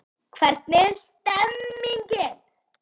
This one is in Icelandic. Hvernig er stemningin?